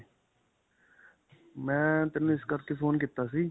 ਮੈਂ ਤੇਨੂੰ ਇਸ ਕਰਕੇ phone ਕੀਤਾ ਸੀ.